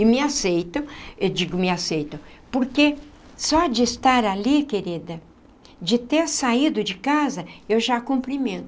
E me aceitam, eu digo me aceitam, porque só de estar ali, querida, de ter saído de casa, eu já cumprimento.